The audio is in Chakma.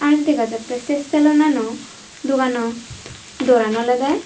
dega jattey se saloonano duganor doran olodey.